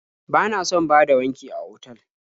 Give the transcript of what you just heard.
Bana son bada wanki a otal.